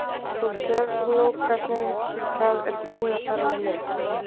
Þú sérð nú hvernig það er búið að fara með mig.